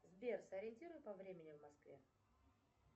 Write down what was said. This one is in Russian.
сбер сориентируй по времени в москве